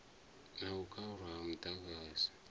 na u khaulwa ha muḓagasi